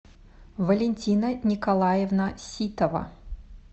валентина николаевна ситова